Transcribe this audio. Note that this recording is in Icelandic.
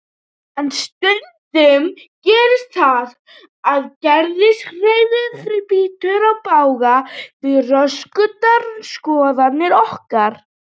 En stundum gerist það að geðshræring brýtur í bága við rökstuddar skoðanir okkar.